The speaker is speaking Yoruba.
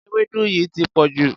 Ewédú yìí ti pọ̀jù.